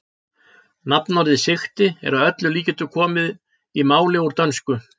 Nafnorðið sigti er að öllum líkindum komið í málið úr dönsku.